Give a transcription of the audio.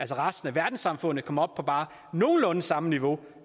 resten af verdenssamfundet kom op på bare nogenlunde samme niveau